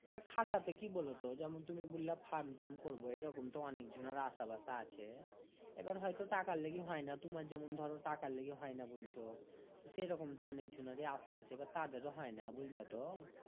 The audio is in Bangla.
ও খাটাতে কি বোলো তো যেমন তুমি বুল্লা fund ট্যান্ড করবো এরকম তো অনেক জানার আশা বাসা আছে আবার হয় তো টাকার লেগে হয় না তুমার যেমন ধরো টাকার লেগে হয় না বুলছো সেরকম তো অনেক জোনারই আশা আছে আবার তাদের হয় না বুজলা তো